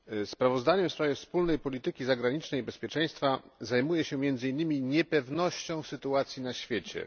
Sprawozdanie w sprawie wspólnej polityki zagranicznej i bezpieczeństwa zajmuje się między innymi niepewnością sytuacji na świecie.